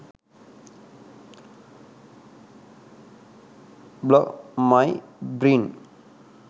blog my brain